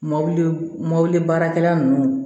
Mobili mɔbili baarakɛla nunnu